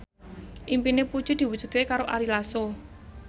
impine Puji diwujudke karo Ari Lasso